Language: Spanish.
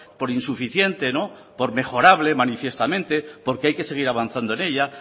por insuficiente por mejorable manifiestamente porque hay que seguir avanzando en ella